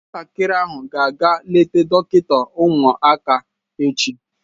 Nwatakịrị ahụ ga-aga eleta dọkịta ụmụaka echi.